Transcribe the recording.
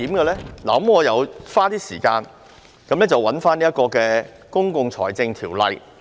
我花了一些時間翻閱《公共財政條例》。